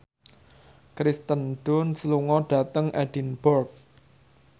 Kirsten Dunst lunga dhateng Edinburgh